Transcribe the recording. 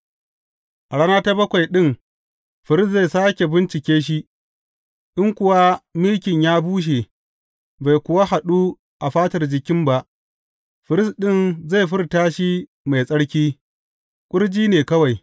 A rana ta bakwai ɗin firist zai sāke bincike shi, in kuwa mikin ya bushe bai kuwa yaɗu a fatar jikin ba, firist ɗin zai furta shi mai tsarki; ƙurji ne kawai.